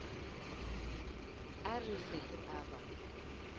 a re se a ba